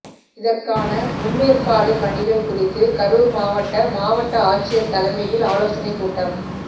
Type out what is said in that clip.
இதற்கான முன்னேற்பாடு பணிகள் குறித்து கரூா் மாவட்ட மாவட்ட ஆட்சியா் தலைமையில் ஆலோசனைக் கூட்டம்